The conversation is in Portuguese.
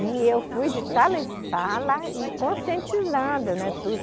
E eu fui de sala em sala e conscientizando, né?